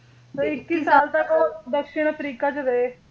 ਇੱਕੀ ਸਾਲ ਤੱਕ ਉਹ ਦੱਖਣ ਅਫਰੀਕਾ ਵਿੱਚ ਰਹੇ